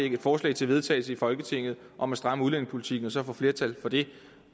et forslag til vedtagelse i folketinget om at stramme udlændingepolitikken og så få flertal for det